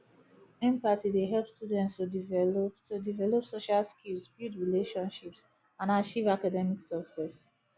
empathy dey help students to develop to develop social skills build relationships and achieve academic success